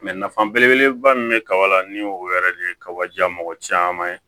nafa belebeleba min bɛ kaba la ni o yɛrɛ de ye kaba ja mɔgɔ caman ye